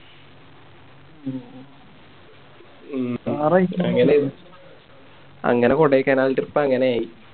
അങ്ങനെ കൊടൈക്കനാൽ Trip അങ്ങനെ ആയി